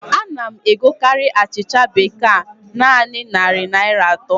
A na m egokarị achịcha bekee a naanị narị Naịra atọ